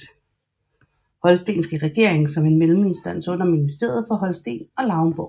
Holstenske Regering som en melleminstans under Ministeriet for Holsten og Lauenborg